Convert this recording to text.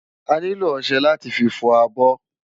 Ániló òṣè láti fi fò ábò